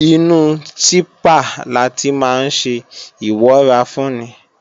Inú sípà láti máa ńṣe ìwọ́rafúnni